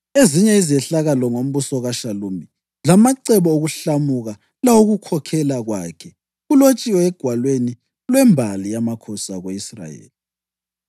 Ezinye izehlakalo ngombuso kaShalumi, lamacebo okuhlamuka lawokukhokhela kwakhe, kulotshiwe egwalweni lwembali yamakhosi ako-Israyeli.